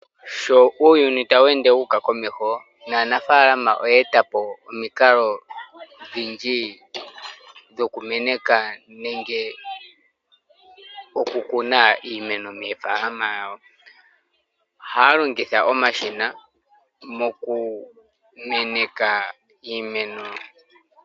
Sho uuyuni tawu ende wuuka komeho naanafaalama oya eta po omikalo odhindji dhokumeneka nenge okukuna iimeno moofaalama dhawo, ohaya longitha omashina mokumeneka iimeno.